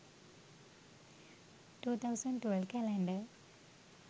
2012 calendar